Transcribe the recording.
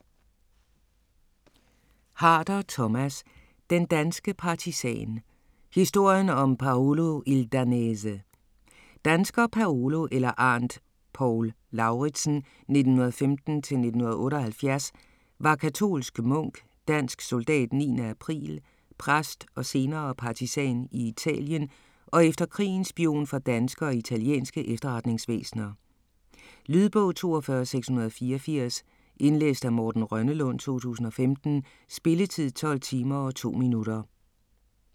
Harder, Thomas: Den danske partisan: historien om Paolo il danese Dansker Paolo eller Arndt Paul Lauritzen (1915-1978) var katolsk munk, dansk soldat 9. april, præst og senere partisan i Italien, og efter krigen spion for danske og italienske efterretningsvæsner. Lydbog 42684 Indlæst af Morten Rønnelund, 2015. Spilletid: 12 timer, 2 minutter.